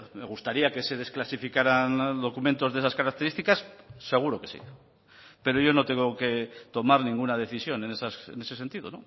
me gustaría que se desclasificaran documentos de esas características seguro que sí pero yo no tengo que tomar ninguna decisión en ese sentido